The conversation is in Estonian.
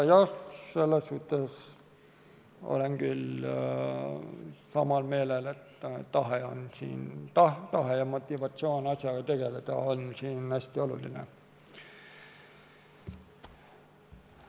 Jah, selles suhtes olen küll samal meelel, et tahe ja motivatsioon asjaga tegeleda on siin hästi olulised.